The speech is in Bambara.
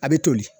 A bɛ toli